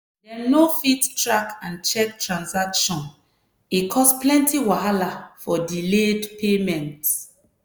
dem no fit track and check transaction e cause plenty wahala for delayed payment.